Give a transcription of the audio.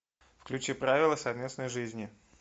включи правила совместной жизни